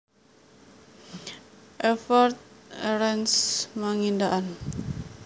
Evert Erenst Mangindaan